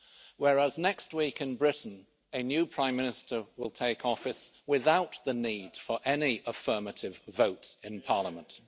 whereas next week, in Britain, a new Prime Minister will take office without the need for any affirmative votes in parliament.